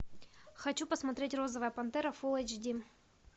хочу посмотреть розовая пантера фул эйч ди